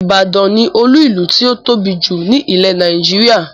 Ìbàdàn ni Olú-ìlú tí ó tóbi jù ni ilẹ̀ Nàìjíríà